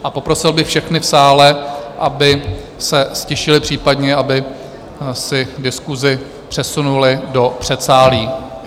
A poprosil bych všechny v sále, aby se ztišili, případně aby si diskusi přesunuli do předsálí.